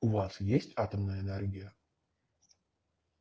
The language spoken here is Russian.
у вас есть атомная энергия